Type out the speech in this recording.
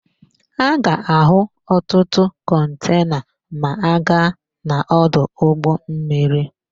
A ga-áhụ̀ ọtụtụ kọntena ma a gaa n'ọdụ ụgbọmmiri.